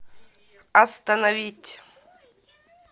остановить